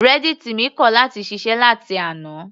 Reddit mi kọ̀ láti ṣiṣẹ́ láti àná.